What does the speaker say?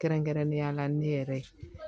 Kɛrɛnkɛrɛnnenya la ne yɛrɛ ye